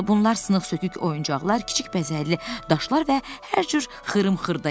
Bunlar sınıq-sökük oyuncaqlar, kiçik bəzəkli daşlar və hər cür xırım-xırda idi.